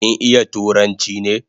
Kin iya turanchi ne?